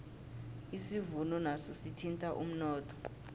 isivuno naso sithinta umnotho